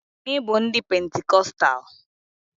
Anyị bụ ndị isi pentikọstal.